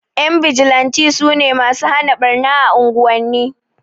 Ƴan bijilan sune masu hana ɓarna a unguwanni